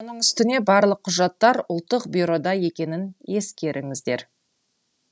оның үстіне барлық құжаттар ұлттық бюрода екенін ескеріңіздер